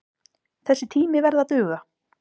Þessi tími verði að duga.